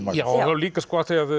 já líka af því